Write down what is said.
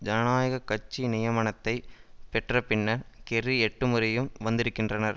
ஜனநாயக கட்சி நியமனத்தைப் பெற்ற பின்னர் கெர்ரி எட்டு முறையும் வந்திருக்கின்றனர்